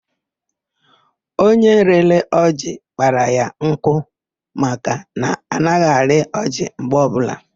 Onye rịrị ọjị kpara ya nkụ maka na anaghị arị ọjị mgbe ọbụla.